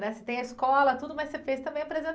né? Você tem a escola, tudo, mas você fez também